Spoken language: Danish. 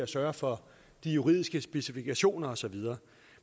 sørge for de juridiske specifikationer og så videre